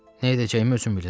Nə edəcəyimi özüm bilirəm.